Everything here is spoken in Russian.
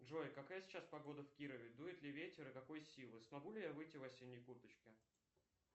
джой какая сейчас погода в кирове дует ли ветер и какой силы смогу ли я выйти в осенней курточке